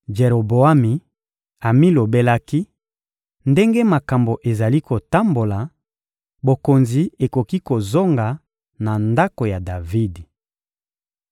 Jeroboami amilobelaki: «Ndenge makambo ezali kotambola, bokonzi ekoki kozonga na ndako ya Davidi.